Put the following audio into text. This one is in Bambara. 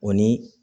O ni